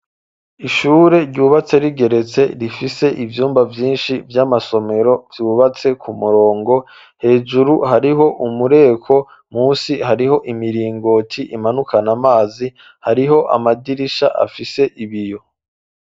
Ishure ryubatse rigeretse rifise ivyumba vyinshi vy'amasomero vyubatse ku murongo hejuru hariho umureko musi hariho imiringoti imanukana amazi hariho amadirisha afise ibiyo.